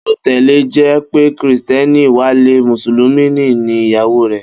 Bí ó tile̩ jé̩ pé Krìsté̩nì Wálé, Mùsùlùmí ni ìyàwó rè̩